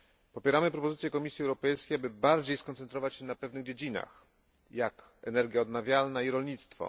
Popieramy propozycję Unii Europejskiej, aby bardziej skoncentrować się na pewnych dziedzinach, jak energie odnawialne i rolnictwo.